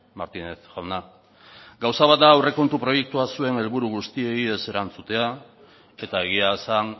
martínez jauna gauza bat da aurrekontu proiektua zure helburu guztiei ez erantzutea eta egia esan